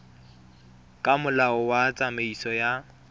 ka molao wa tsamaiso ya